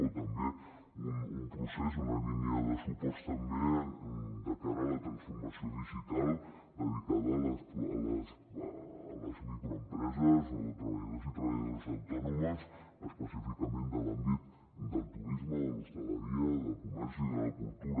o també un procés una línia de suport també de cara a la transformació digital dedicada a les microempreses o treballadors i treballadores autònoms específicament de l’àmbit del turisme de l’hostaleria del comerç i de la cultura